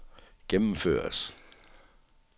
gennemføres